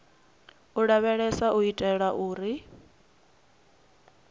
u lavheleswa u itela uri